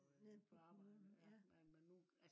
nede på kommunen ja